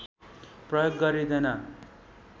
प्रयोग गरिँदैन